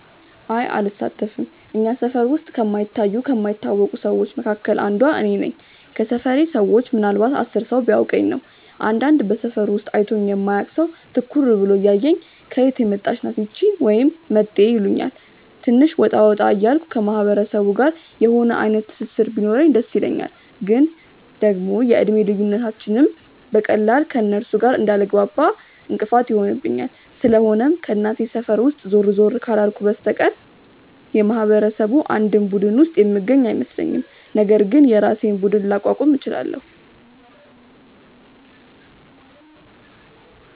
አይ አልሳተፍም። እኛ ሰፈር ውስጥ ከማይታዩ ከማይታወቁ ሰዎች መካከል አንዷ እኔ ነኝ። ከሰፈሬ ሰዎች ምናልንባት 10 ሰው ቢያውቀኝ ነው። አንዳንድ በሰፈሩ ውስጥ አይቶኝ የማያውቅ ሰው ትኩር ብሎ እያየኝ "ከየት የመጣች ናት እቺ?" ወይም "መጤ" ይሉኛል። ትንሽ ወጣ ወጣ እያልኩ ከማህበረሰቡ ጋር የሆነ አይነት ትስስር ቢኖረኝ ደስ ይለኛል፤ ግን ደግሞ የእድሜ ልዩነታችንም በቀላሉ ከእነርሱ ጋር እንዳልግባባ እንቅፋት ይሆንብኛል። ስለሆነም ከእናቴ ሰፈር ውስጥ ዞር ዞር ካላልኩ በስተቀር የማህበረሰቡ አንድም ቡድን ውስጥ የምገኝ አይመስለኝም፤ ነገር ግን የራሴን ቡድን ላቋቁም እችላለው።